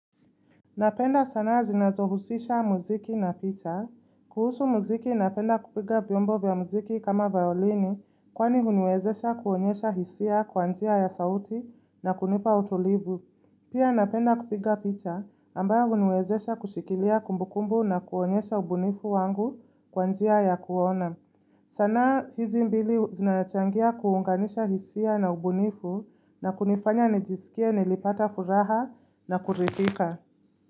Napenda sana zinazohusisha muziki na picha. Kuhusu muziki napenda kupiga vyombo vya muziki kama violini kwani huniwezesha kuonyesha hisia kwa njia ya sauti na kunipa utulivu. Pia napenda kupiga picha ambayo huniwezesha kushikilia kumbukumbu na kuonyesha ubunifu wangu kwa njia ya kuona. Sanaa hizi mbili zinachangia kuunganisha hisia na ubunifu na kunifanya nijisikie nilipata furaha na kuridhika.